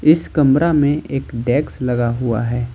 इस कमरा में एक डैक्स लगा हुआ है।